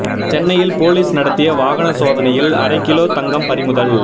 சென்னையில் போலீஸ் நடத்திய வாகன சோதனையில் அரை கிலோ தங்கம் பறிமுதல்